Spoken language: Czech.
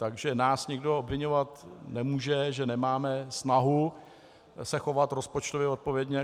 Takže nás nikdo obviňovat nemůže, že nemáme snahu se chovat rozpočtově odpovědně.